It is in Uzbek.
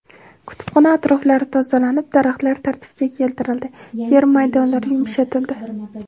Kutubxona atroflari tozalanib, daraxtlar tartibga keltirildi, yer maydonlari yumshatildi.